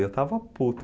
E eu estava puto.